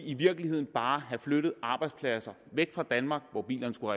i virkeligheden bare komme at flytte arbejdspladser væk fra danmark hvor bilerne skulle